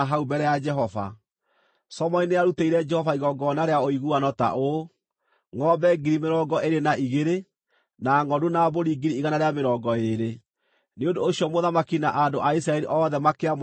Solomoni nĩarutĩire Jehova igongona rĩa ũiguano ta ũũ: ngʼombe ngiri mĩrongo ĩĩrĩ na igĩrĩ, na ngʼondu na mbũri ngiri igana rĩa mĩrongo ĩĩrĩ. Nĩ ũndũ ũcio mũthamaki na andũ a Isiraeli othe makĩamũra hekarũ ya Jehova.